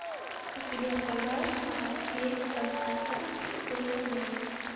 у тебя в загашнике есть от пацанки до панянки